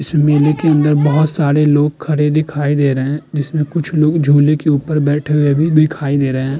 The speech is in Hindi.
इस मेले के अंदर बहोत सारे लोग खड़े दिखाई दे रहे हैं जिसमें कुछ लोग झूले के ऊपर पर बैठे हुए भी दिखाई दे रहे हैं।